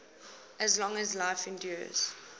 as long as life endures